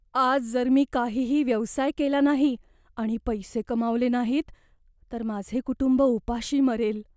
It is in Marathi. आज जर मी काहीही व्यवसाय केला नाही आणि पैसे कमावले नाहीत, तर माझे कुटुंब उपाशी मरेल.